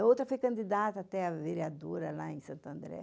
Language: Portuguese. A outra foi candidata até à vereadora lá em Santander.